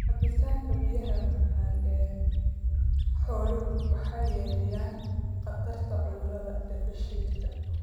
Cabitaanka biyaha macaan ee xooluhu waxay yareeyaan khatarta cudurrada dheefshiidka.